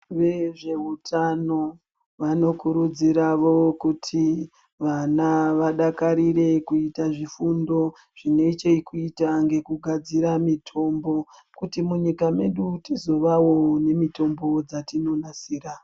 Vezvehutano vanokurudzirwawo kuti vana vaidakarire kuita zvifundo zvine chekuita nekugadzira mitombo kuti munyika medu tizovawo nemitombo yatinogadzira.